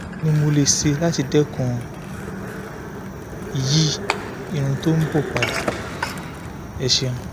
kí ni mo lè ṣe láti dẹ́kun/yí irun tó ń bọ́ padà? ẹ ṣeun